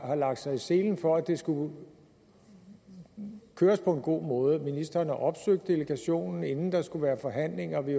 har lagt sig i selen for at det skulle køres på en god måde ministeren har opsøgt delegationen inden der skulle være forhandlinger og vi